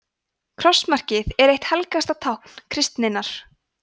krossmarkið er eitt helgasta tákn kristninnar